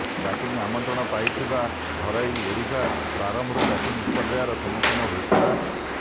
batting ଆମନ୍ତ୍ରଣ ପାଇଥିବା ଘରୋଇ ଓଡ଼ିଶା ପ୍ରାରମ୍ଭରୁ ବ୍ୟାଟିଂ ବିପର୍ଯ୍ୟୟର ସମ୍ମୁଖୀନ ହୋଇଥିଲା